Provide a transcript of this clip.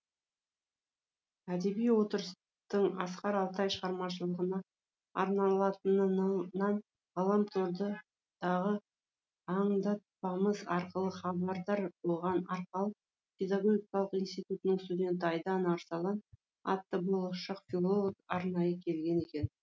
әдеби отырыстың асқар алтай шығармашылығына арналатынынан ғаламтордыдағы аңдатпамыз арқылы хабардар болған арқалық педагогикалық институтының студенті айдана арсалан атты болашақ филолог арнайы келген екен